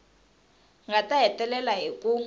nga ta hetelela hi ku